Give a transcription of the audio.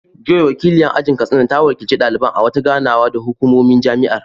Joy, wakiliyar ajin Katsina, ta wakilci daliban a wata ganawa da hukumomin jami’ar.